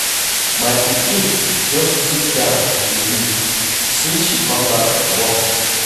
My pikin just sit down dey read since she come back from work.